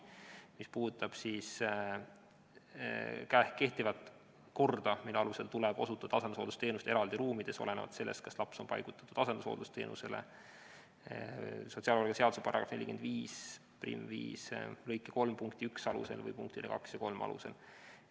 Mis puudutab kehtivat korda, mille alusel tuleb osutuda asendushooldusteenust eraldi ruumides, olenevalt sellest, kas laps on paigutatud asendushooldusteenusele sotsiaalmaksuseaduse § 455 lõike 3 punkti 1 alusel või punktide 2 ja 3 alusel.